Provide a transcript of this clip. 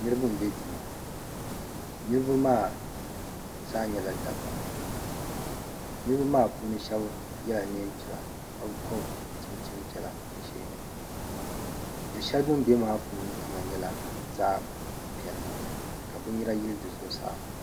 niriba n-be duu niriba maa zaa nyɛla dabba niriba maa puuni shɛba yela neen'piɛla ka gɔbi chinchini piɛla du' shɛli bɛ be maa puuni mi kama nyɛla zaɣ' piɛlli ka biniyɛra yili di zuɣusaa.